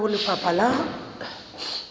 e ya ho lefapha la